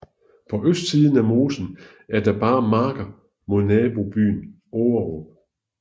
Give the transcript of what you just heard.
På østsiden af mosen er der bare marker mod nabobyen Ågerup